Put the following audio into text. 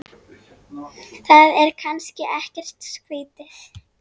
Það er kannski ekkert skrýtið?